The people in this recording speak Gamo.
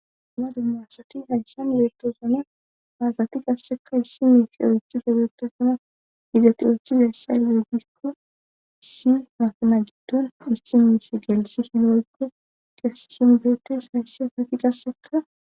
Ama dummaassati hayshan beettoosana maasati qassekka issi miis eochchi sebeto suna izati oochi sasha le gikko si matina giddon issi miish gelisi hinoykko qesi shinbeetes haysshi asati qasseka